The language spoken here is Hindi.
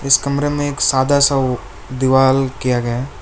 इस कमरे में एक सादा सा वो दीवाल किया गया है।